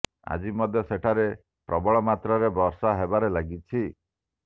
ଆଜି ମଧ୍ୟ ସେଠାରେ ପ୍ରବଳ ମାତ୍ରାରେ ବର୍ଷା ହେବାରେ ଲାଗିଛି